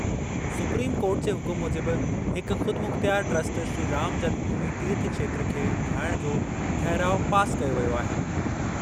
Supreme court जे हुकुम मूजिबि हिक ख़ुदमुख़्तियार ट्रस्ट श्री राम जन्मभूमि तीर्थ क्षेत्र खे ठाहिणु जो ठहिराउ पास कयो वियो आहे।